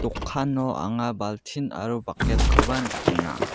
dokano anga baltin aro bucket-koba nikenga.